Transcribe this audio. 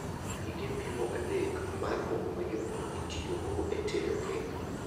gige pimo adek mar mogo mayom itiyogo e tedo kek